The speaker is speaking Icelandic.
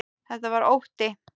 Þetta var ótti.